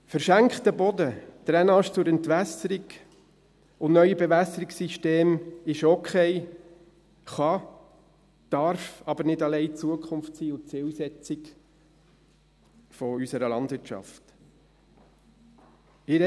Verschenkter Boden, Drainage zur Entwässerung und neue Bewässerungssysteme sind okay, können, dürfen aber nicht allein die Zukunft und die Zielsetzung unserer Landwirtschaft sein.